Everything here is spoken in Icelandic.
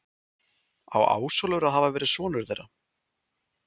Á Ásólfur að hafa verið sonur þeirra.